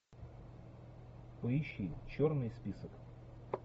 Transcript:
поищи черный список